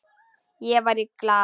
Ég var í Glað.